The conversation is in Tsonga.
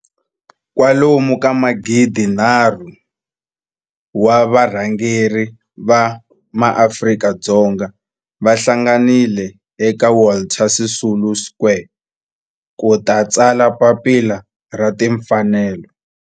Kwalomu ka magidi nharhu, 3 000, wa varhangeri va maAfrika-Dzonga va hlanganile eka Walter Sisulu Square ku ta tsala Papila ra Tinfanelo.